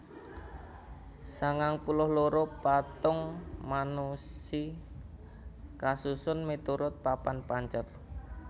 sangang puluh loro patung Manushi kasusun miturut papat pancer